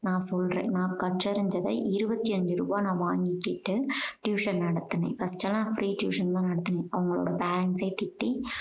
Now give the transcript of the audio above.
நான் சொல்றேன். நான் கற்றறிஞ்சத இருபத்தியஞ்சு ரூபா நான் வாங்கிக்கிட்டு tuition நடத்தினேன் but ஆனா free tuition தான் நடத்தினேன். அவங்களோட parents அ திட்டி